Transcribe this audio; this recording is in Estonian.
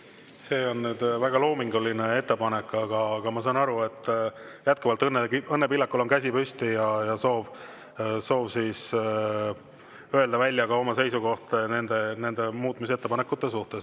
See on nüüd väga loominguline ettepanek, aga ma saan aru, et jätkuvalt Õnne Pillakul on käsi püsti ja soov öelda välja oma seisukoht nende muutmisettepanekute suhtes.